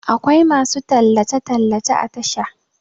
akwai masu tallace - tallace a Tasha